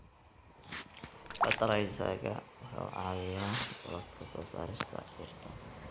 Fertilizer-ka wuxuu caawiyaa korodhka soo saarista dhirta.